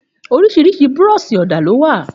Òrìsírìsí búrọ̀sí ọdà lọ wà.